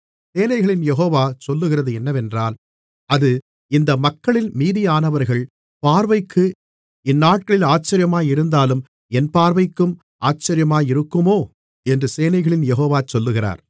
சேனைகளின் யெகோவா சொல்லுகிறது என்னவென்றால் அது இந்த மக்களில் மீதியானவர்களின் பார்வைக்கு இந்நாட்களில் ஆச்சரியமாயிருந்தாலும் என் பார்வைக்கும் ஆச்சரியமாயிருக்குமோ என்று சேனைகளின் யெகோவா சொல்லுகிறார்